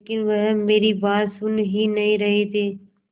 लेकिन वह मेरी बात सुन ही नहीं रहे थे